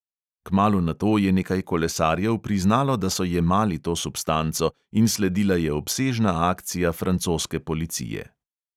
Kmalu nato je nekaj kolesarjev priznalo, da so jemali to substanco, in sledila je obsežna akcija francoske policije.